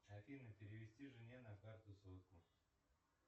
афина перевести жене на карту сотку